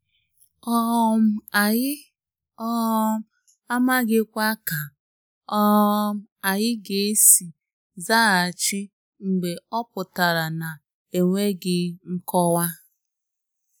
um Anyị um amaghikwa ka um anyị ga-esi zaghachi mgbe ọ pụtara na-enweghị nkọwa.